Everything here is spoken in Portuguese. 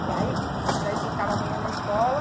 E aí vocês aí vocês ficavam a manhã na escola?